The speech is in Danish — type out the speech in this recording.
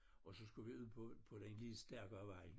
Og så skulle på på den lidt stærkere vej